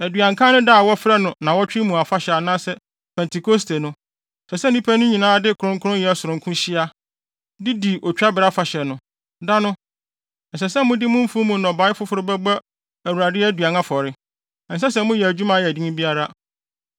“ ‘Aduankan da no a wɔfrɛ no Nnaawɔtwe mu Afahyɛ anaasɛ Pentekoste no, ɛsɛ sɛ nnipa no nyinaa de kronkronyɛ sononko hyia, de di Otwabere Afahyɛ no. Da no, ɛsɛ sɛ mode mo mfuw mu nnɔbae foforo bɛbɔ Awurade aduan afɔre. Ɛnsɛ sɛ moyɛ adwuma a ɛyɛ den biara.